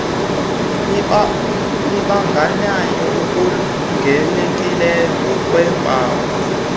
libandakanya okulindelekileyo ngokweempawu